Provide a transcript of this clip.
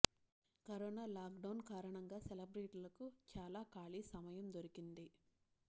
corona lockdown కారణంగా సెలబ్రిటీలకు చాలా ఖాళీ సమయం దొరికింది